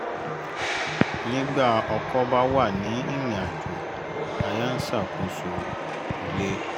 nígbà ọkọ bá wà ní irinàjò aya ń ṣàkóso ilé